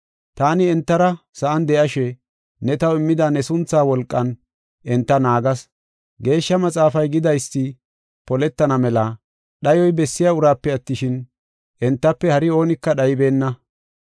Taani entara sa7an de7ashe, ne taw immida ne sunthaa wolqan enta naagas. Geeshsha Maxaafay gidaysi poletana mela dhayoy bessiya uraape attishin, entafe hari oonika dhaybeenna.